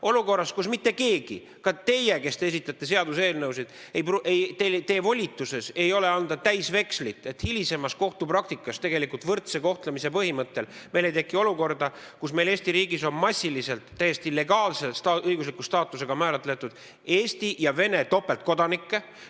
Olukorras, kus mitte keegi, ka mitte teie, kes te esitate seaduseelnõusid, ei ole volitatud andma välja täisvekslit, et hilisemas kohtupraktikas tegelikult võrdse kohtlemise põhimõttest tulenevalt ei teki meil olukorda, kus Eesti riigis on massiliselt täiesti legaalse õigusliku staatusega Eesti ja Vene topeltkodanikke.